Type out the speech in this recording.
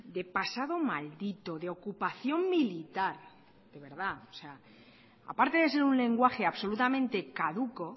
de pasado maldito de ocupación militar de verdad o sea aparte de ser un lenguaje absolutamente caduco